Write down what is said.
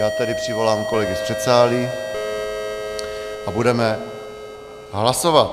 Já tedy přivolám kolegy z předsálí a budeme hlasovat.